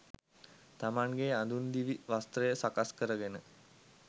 තමන්ගේ අඳුන් දිවි වස්ත්‍රය සකස් කරගෙන